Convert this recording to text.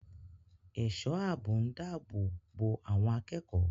Ẹ̀ṣọ́ ààbò ń dáàbò bo àwọn akẹ́kọ̀ọ́